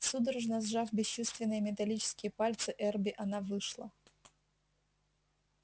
судорожно сжав бесчувственные металлические пальцы эрби она вышла